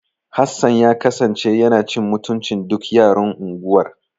Hassan ya kasance yana cin mutuncin duk yaran unguwar.